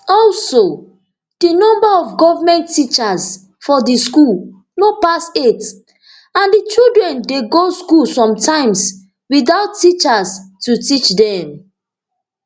also di number of goment teachers for di school no pass eight and di children dey go school sometimes witout teachers to teach dem